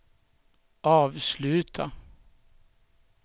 avsluta